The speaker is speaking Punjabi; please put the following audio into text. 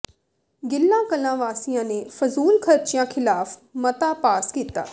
ਗਿੱਲ ਕਲਾਂ ਵਾਸੀਆਂ ਨੇ ਫਜ਼ੂਲ ਖਰਚਿਆਂ ਖ਼ਿਲਾਫ਼ ਮਤਾ ਪਾਸ ਕੀਤਾ